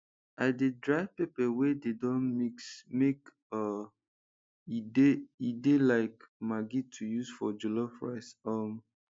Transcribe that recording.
i dey dry pepper wey dey don mix make um e de de like maggi to use for jollof rice um